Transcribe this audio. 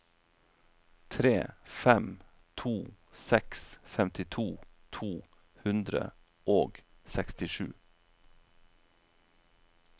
tre fem to seks femtito to hundre og sekstisju